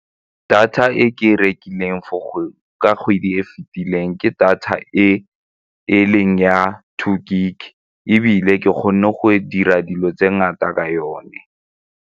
Data e ke e rekileng ka kgwedi e e fitileng ke data e e leng ya two gig ebile ke kgonne go dira dilo tse ngata ka yone.